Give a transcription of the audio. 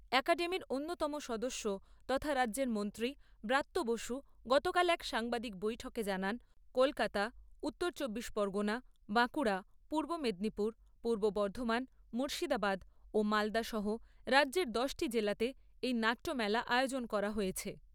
অ্যাকাডেমির অন্যতম সদস্য তথা রাজ্যের মন্ত্রী ব্রাত্য বসু গতকাল এক সাংবাদিক বৈঠকে জানান, কলকাতা উত্তর চব্বিশ পরগণা, বাঁকুড়া, পূর্ব মেদিনীপুর, পূর্ব বর্ধমান, মুর্শিদাবাদ ও মালদা সহ রাজ্যের দশটি জেলাতে এই নাট্যমেলা আয়োজন করা হয়েছে।